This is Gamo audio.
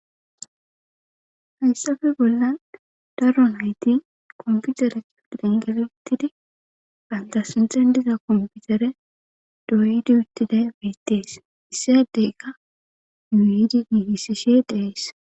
hayssafe bollan daro nayti komppitere kifilen geli uttidi bantta sinthen diza komppitere ddoyidi uttiday beetees issi addeyka yuuyidi giigisishe de7ees.